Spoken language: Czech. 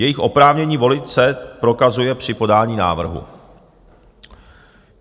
Jejich oprávnění volit se prokazuje při podání návrhu.